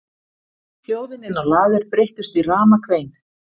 Hljóðin inni á lager breyttust í ramakvein.